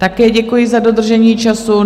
Také děkuji za dodržení času.